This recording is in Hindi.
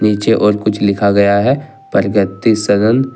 नीचे और कुछ लिखा गया है परगति सदन।